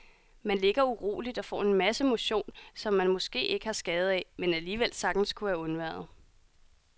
Man ligger uroligt og får en masse motion, som man måske ikke har skade af, men alligevel sagtens kunne have undværet.